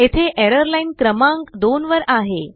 येथेएरर लाईनक्रमांक 2 वर आहे